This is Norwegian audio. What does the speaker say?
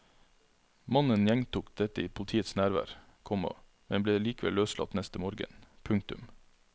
Mannen gjentok dette i politiets nærvær, komma men ble likevel løslatt neste morgen. punktum